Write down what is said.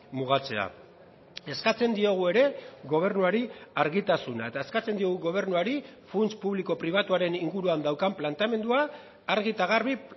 mugatzea eskatzen diogu ere gobernuari argitasuna eta eskatzen diogu gobernuari funts publiko pribatuaren inguruan daukan planteamendua argi eta garbi